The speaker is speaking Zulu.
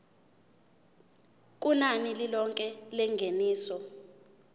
kunani lilonke lengeniso